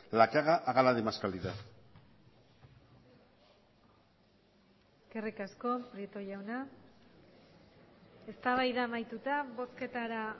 la que haga hágala de más calidad eskerrik asko prieto jauna eztabaida amaituta bozketara